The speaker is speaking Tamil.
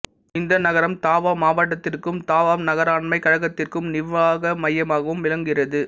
இந்த நகரம் தாவாவ் மாவட்டத்திற்கும் தாவாவ் நகராண்மைக் கழகத்திற்கும் நிர்வாக மையமாகவும் விளங்குகிறது